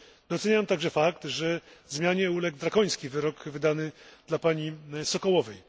Doceniam także fakt, że zmianie uległ drakoński wyrok wydany dla pani Sokołowej.